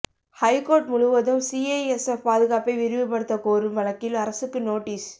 high court முழுவதும் CISF பாதுகாப்பை விரிவுபடுத்த கோரும் வழக்கில் அரசுக்கு நோட்டீஸ்